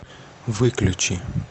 выключи